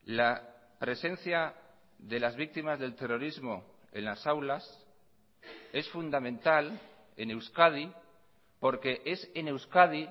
la presencia de las víctimas del terrorismo en las aulas es fundamental en euskadi porque es en euskadi